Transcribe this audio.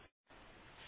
terminal বন্ধ করলাম